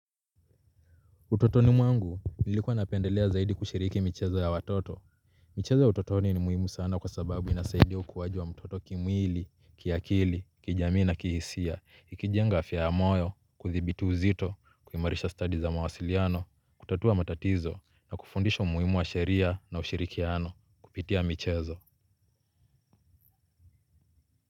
Utotoni mwangu, nilikuwa napendelea zaidi kushiriki michezo ya watoto. Michezo ya utotoni ni muhimu sana kwa sababu inasaidia ukuaji wa mtoto kimwili, kiakili, kijamii na kihisia, ikijenga afya ya moyo, kuthibitu uzito, kuimarisha study za mawasiliano, kutatua matatizo, na kufundisha umuhimu wa sheria na ushirikiano, kupitia michezo.